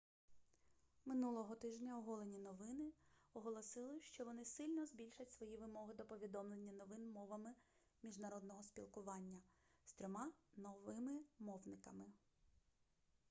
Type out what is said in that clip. минулого тижня оголені новини оголосили що вони сильно збільшать свої вимоги до повідомлення новин мовами міжнародного спілкування з трьома новими мовниками